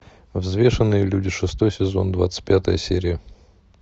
взвешенные люди шестой сезон двадцать пятая серия